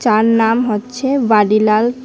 তার নাম হচ্ছে ভাডিলাল ।